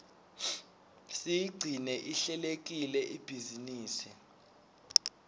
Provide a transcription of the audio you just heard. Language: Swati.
siyigcine ihlelekile ibhizinisi